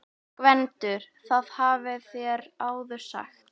GVENDUR: Það hafið þér áður sagt.